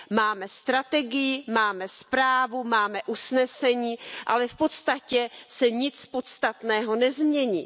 Máme strategii, máme zprávu, máme usnesení, ale v podstatě se nic podstatného nezmění.